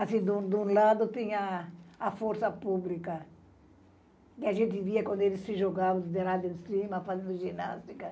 Assim, de um de um lado tem a força pública, que a gente via quando eles se jogavam de lado em cima, fazendo ginástica.